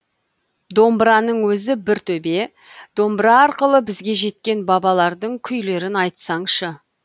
домбыраның өзі бір төбе домбыра арқылы бізге жеткен бабалардың күйлерін айтсаңшы